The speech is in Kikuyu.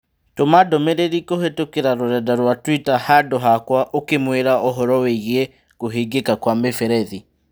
Tũma ndũmĩrĩri kũhĩtũkĩra rũrenda rũa tũita handũ hakwa ũkĩmũĩra ũhoro wĩgiĩ kũhingika kwa mĩberethi